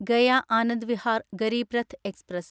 Gaya Anand Vihar Garib Rath express